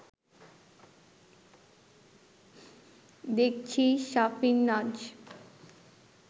দেখছি সাফিনাজ